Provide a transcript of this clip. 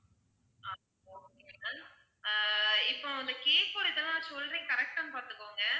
ஆஹ் okay done ah இப்போ இந்த cake ஓட இதெல்லாம் சொல்றேன் correct டான்னு பார்த்துக்கோங்க